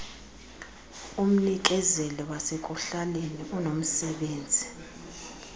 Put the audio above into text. umnikezeli wasekuhlaleni unomsebenzi